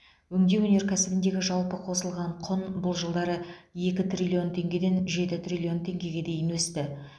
өңдеу өнеркәсібіндегі жалпы қосылған құн бұл жылдары екі триллион теңгеден жеті триллион теңгеге дейін өсті